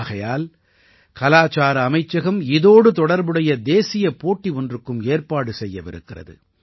ஆகையால் கலாச்சார அமைச்சகம் இதோடு தொடர்புடைய தேசியப் போட்டி ஒன்றுக்கும் ஏற்பாடு செய்யவிருக்கிறது